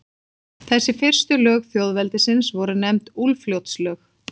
Þessi fyrstu lög þjóðveldisins voru nefnd Úlfljótslög.